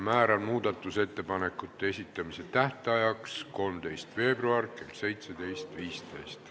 Määran muudatusettepanekute esitamise tähtajaks 13. veebruari kell 17.15.